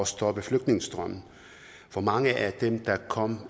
stoppe flygtningestrømmen for mange af dem der kom